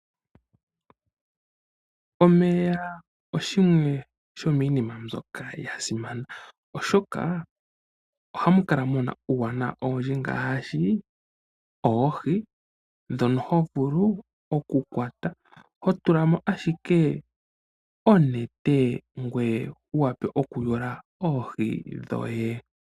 Omeya oga simana. Momeya oha mu kala mu na iinima oyindji ngaashi oohi. Omuntu oto vulu okudhi kwata to tula mo owala onete ngoye wu wape okuyula oohi dhoye.